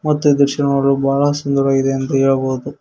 ಮತ್ತು ಈ ದೃಶ್ಯ ನೋಡಲು ಬಹಳ ಸುಂದರವಾಗಿದೆ ಎಂದು ಹೇಳಬಹುದು.